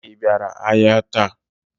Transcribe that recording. I bịara ahịa taa?